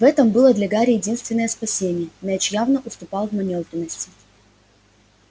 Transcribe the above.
в этом было для гарри единственное спасение мяч явно уступал в манёвренности